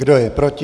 Kdo je proti?